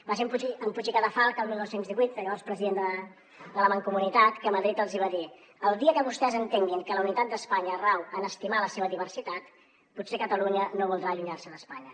va ser en puig i cadafalch el dinou deu vuit el llavors president de la mancomunitat que a madrid els va dir el dia que vostès entenguin que la unitat d’espanya rau a estimar la seva diversitat potser catalunya no voldrà allunyar se d’espanya